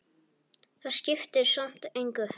Það skiptir samt engu,